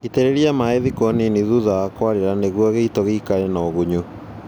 Itĩrĩria maĩĩ thikũ nini thutha wa kũarĩra nĩguo gĩito gĩikare na ũgunyu